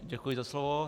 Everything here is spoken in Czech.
Děkuji za slovo.